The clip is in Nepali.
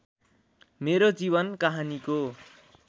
मेरो जीवन कहानिको